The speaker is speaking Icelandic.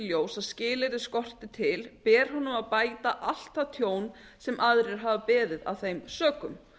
ljós að skilyrði skorti til ber honum að bæta allt það tjón sem aðrir hafa beðið af þeim sökum